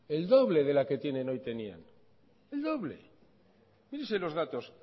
el doble de la que tienen hoy tenían el doble fíjese en los datos